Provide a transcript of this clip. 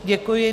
Děkuji.